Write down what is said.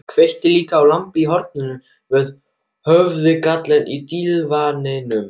Kveikti líka á lampa í horninu við höfðagaflinn á dívaninum.